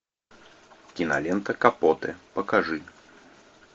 кинолента капоты покажи